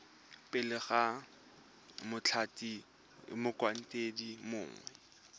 pele ga mothati motlhankedi mongwe